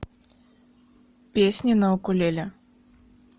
песни на укулеле